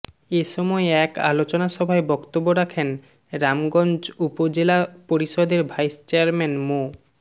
এসময় এক আলোচনা সভায় বক্তব্য রাখেন রামগঞ্জ উপজেলা পরিষদের ভাইস চেয়ারম্যান মো